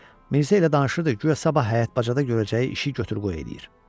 Mirzə ilə danışırdı, guya sabah həyat bacada görəcəyi işi götür-qoy eləyir.